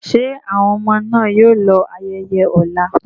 Ṣé àwọn ọmọ náà yóò lọ ayẹyẹ ọ̀la?